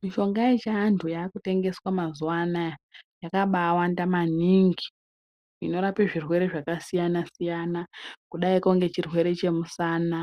Mishonga ye chiantu yaku tengeswa mazuva anaya yakabai wanda maningi zvino rape zvirwere zvaka siyana siyana kudaiko nge chirwere che musana